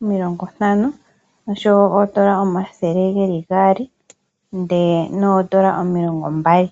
omilongo ntano , oondola omathele geli gaali oshowo oondola omilongo mbali.